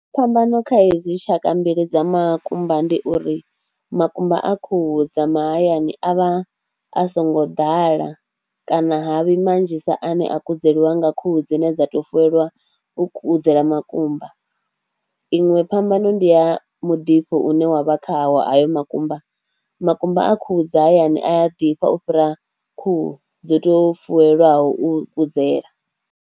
Phambano kha hedzi tshaka mbili dza makumba ndi uri makumba a khuhu dza mahayani a vha a songo ḓala kana ha vhi manzhisa ane a kudzeliwa nga khuhu dzine dza tou fuweliwa u kudzela makumba. Iṅwe phambano ndi ya mudifho une wa vha khawo hayo makumba, makumba a khuhu dza hayani ya ḓifha u fhira khuhu dzo tou fuwelwaho u kudzela.